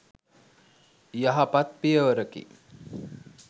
යහපත් පියවරකි.